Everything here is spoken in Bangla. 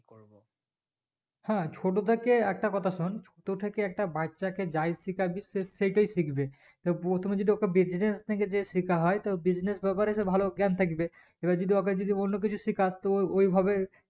হ্যাঁ ছোট থেকে একটা কথা শোন ছোট থেকে একটা বাচ্চাকে যাই শিকাবি সে সেটি শিখবে তো প্রথমে যদি ওকে business থেকে যে শেখাহয় তো business ব্যাপারে যে ভালো গান থাকবে এবার যদি ওকে যদি অন্য কিছু শিকাস তো ওই ভাবে